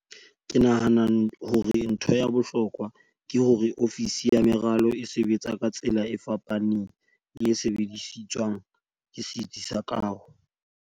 "Ke nahana hore ntho ya bohlokwa ke hore ofisi ya meralo e sebetsa ka tsela e fapaneng le e sebediswang ke setsi sa kaho."